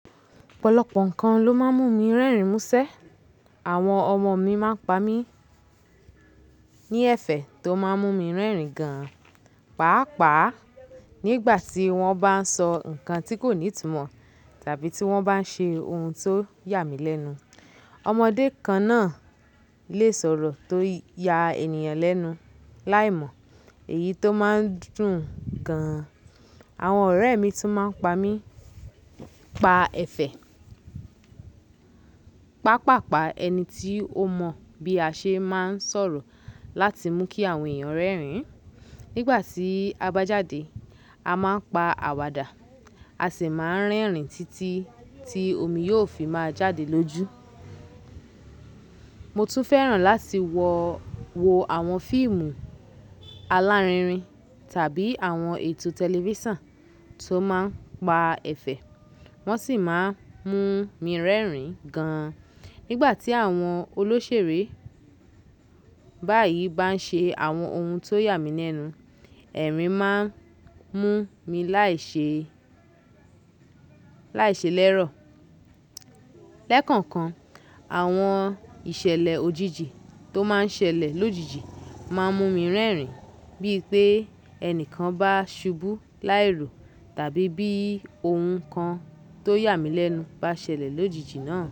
Ọ̀pọ̀lọpọ̀ nǹkan ló máa ń mú mi rẹ́rìn-ín músẹ́. Àwọn ọmọ mi máa ń pa mí ní ẹ̀fẹ̀ tó máa ń mú mi rẹ́rìn-ín gan-an. Pàápàá nígbà tí wọ́n bá ń sọ nǹkan tí kò ní ìtumọ̀ tàbí tí wọ́n bá ń ṣe ohun tó yà mí lẹ́nu. Ọmọdé kan náà lè sọ̀rọ̀ tó ya ènìyàn lẹ́nu láìmọ̀, èyí tó máa ń dùn-ún gan-an. Àwọn ọ̀rẹ́ mi tún máa ń pa mí pa ẹ̀fẹ̀. Pápàpá ẹni tí ó mọ bí a ṣe máa ń sọ̀rọ̀ láti mú kí àwọn èèyàn rẹ́rìn-ín. Nígbà tí a bá jáde, a máa ń pa àwàdà, a sì máa ń rẹ́rìn-ín títí tí omi yóò fi máa jáde lójú. Mo tún fẹ́ràn láti wọ-- wo àwọn fíìmù alárinrin tàbí àwọn ètò tẹlifísàn tó máa ń pa ẹ̀fẹ̀, wọ́n sì máa ń mú mi rẹ́rìn-ín gan-an. Nígbà tí àwọn olóṣèré báyìí bá ń ṣe àwọn ohun tó yà mí lẹ́nu, ẹ̀rín máa ń mú mi láìṣe- láìṣe lẹ́rọ̀. Lẹ́kànkan, àwọn ìṣẹ̀lẹ̀ òjijì tó máa ń ṣẹlẹ̀ lójijì máa ń mú mi rẹ́rìn-ín. Bí i pé ẹni kan bá ṣubú láìró tàbí bí ohun kan tó yà mí lẹ́nu bá ṣẹlẹ̀ lójijì náà.